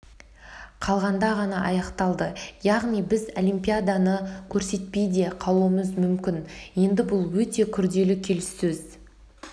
қалғанда ғана аяқталды яғни біз олимпиаданы көрсетпей де қалуымыз мүмкін еді бұл өте күрделі келіссөз